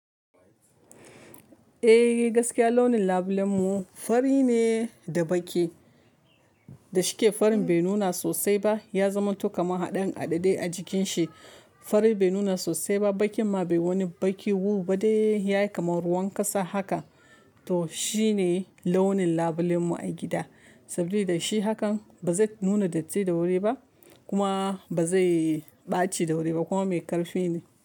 Eh gaskiya launin labulen mu fari ne da baƙi, da shike farin bai nuna sosai ba, ya zama to kama haɗin aɗadae a jikin shi. Farin bai nuna sosai ba, baƙin ma bai wani baƙi wu ba dai yayi kamar ruwan ƙasa haka. To shine launin labulen mu a gida, saboda da shi hakan ba zai nuna datti da wuri ba kuma ba zai ɓaci da wuri ba kuma mai ƙarfi ne.